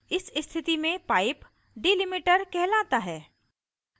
इस स्थिति में pipe delimiter कहलाता है